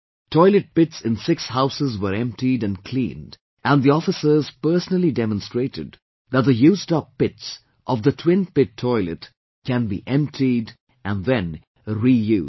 Toilet pits in six houses were emptied and cleaned and the officers personally demonstrated that the used up pits of twin pit toilet can be emptied and then reused